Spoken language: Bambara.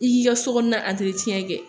I k'i ka so kɔnɔna kɛ